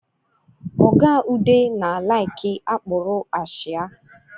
Oga Ude na-alaiki akpụrụ achịa